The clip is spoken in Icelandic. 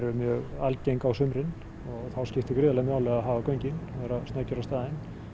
algeng á sumrin og þá skiptir gríðarlegu máli að hafa göngin og vera snöggir á staðinn